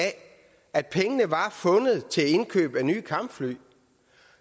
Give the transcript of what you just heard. at pengene var fundet til indkøb af nye kampfly